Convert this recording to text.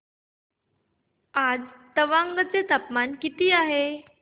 आज तवांग चे तापमान किती आहे